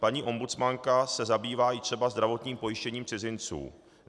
Paní ombudsmanka se zabývá třeba i zdravotním pojištěním cizinců.